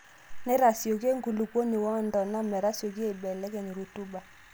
Neitasioki enkulukuoni woontona metasioki aibelekeny rutubaa.